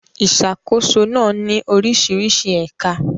Ìṣàkóso náà ní oríṣiríṣi ẹ̀ka.